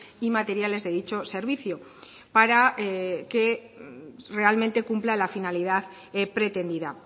y materiales de dicho servicio para que realmente cumpla la finalidad pretendida